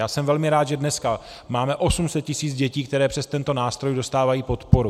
Já jsem velmi rád, že dneska máme 800 tisíc dětí, které přes tento nástroj dostávají podporu.